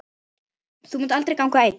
Þú munt aldrei ganga einn.